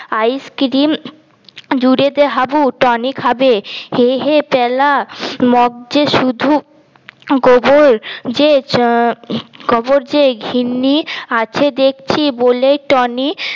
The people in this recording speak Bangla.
আইস্ক্রিম জুড়ে দে হাবু টনি খাবে হে হে প্যালা মগজে শুধু গোবর যে আহ গোবর যে ঘিন্নি আছে দেখছি বলে টনি